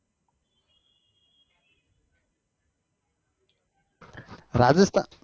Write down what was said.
rajasthan